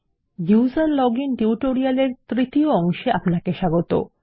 উসের login tutorial এর তৃতীয় অংশে আপনাকে স্বাগত